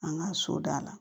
An ka so da la